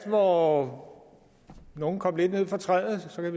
hvor nogle kom lidt ned fra træet så kan